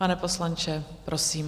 Pane poslanče, prosím.